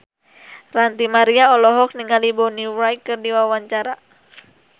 Ranty Maria olohok ningali Bonnie Wright keur diwawancara